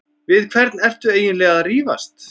Við hvern ertu eiginlega að rífast?